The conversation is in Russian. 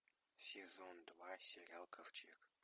сезон два сериал ковчег